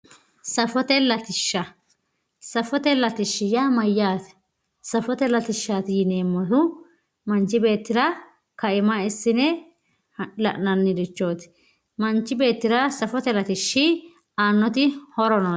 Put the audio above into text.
Safote Latisha Safote Latishshi yaa mayyaate? Safote latishshaati yineemmohu mancho beettira kaima assine la'nannirichooti. manchi beettira safote latishshi aannoti horo no